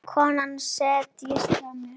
Konan settist hjá mér.